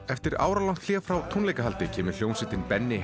eftir áralangt hlé frá tónleikahaldi kemur hljómsveitin Benni